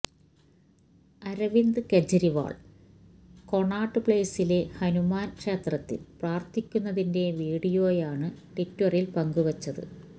Aravind Kejriwal Connaught പ്ലേസിലെ ഹനുമാൻ ക്ഷേത്രത്തിൽ പ്രാർത്ഥിക്കുന്നതിന്റെ വീഡിയോയാണ് ട്വിറ്ററിൽ പങ്കുവച്ചത്